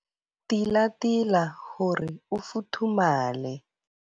Tilatila hore o futhumale.